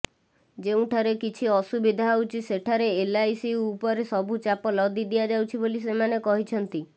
ଯେଉଁଠାରେ କିଛି ଅସୁବିଧା ହେଉଛି ସେଠାରେ ଏଲ୍ଆଇସି ଉପରେ ସବୁ ଚାପ ଲଦି ଦିଆଯାଉଛି ବୋଲି ସେମାନେ କହିଛନ୍ତି